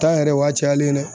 Tan yɛrɛ o y'a cayalen nɛ